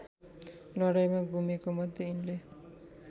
लडाईँँमा गुमेकोमध्ये यिनले